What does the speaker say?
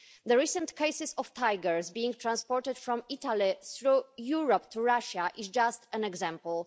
The recent case of tigers being transported from Italy through Europe to Russia is just an example.